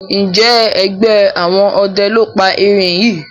Njé ẹgbẹ àwọn ọdẹ ló pá èrin yí?